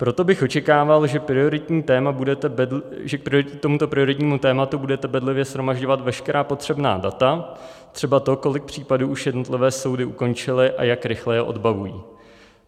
Proto bych očekával, že k tomuto prioritnímu tématu budete bedlivě shromažďovat veškerá potřebná data, třeba to, kolik případů už jednotlivé soudy ukončily a jak rychle je odbavují.